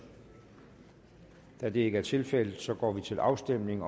da det ikke er tilfældet går vi til afstemning